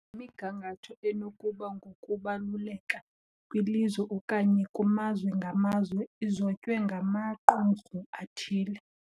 Le migangatho, enokuba ngokubaluleka kwilizwe okanye kumazwe ngamazwe, izotywe ngamaqumrhu athile